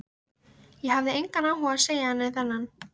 Ég hafði engan áhuga á að segja henni þennan.